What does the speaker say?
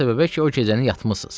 O səbəbə ki, o gecəni yatmısınız.